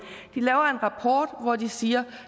de laver en rapport hvori de siger